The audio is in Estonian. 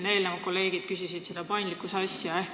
Kolleegid enne küsisid selle paindlikkuse kohta.